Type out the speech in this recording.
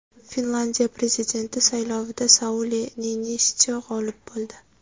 Finlyandiya prezidenti saylovida Sauli Niinistyo g‘olib bo‘ldi.